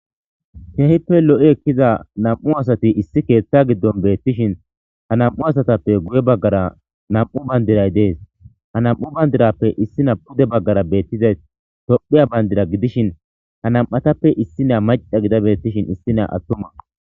keehippe lo7i ekkiza nam7u asati issi keethta giddon beettishin ha nam7u asatappe guye baggara nam7u bandiray dees ha nam7u bandirappe issi na pude baggara beettizay tophiya bayndira gidishin ha nam7atappe issi naa maca gida bettishin issi naa attuma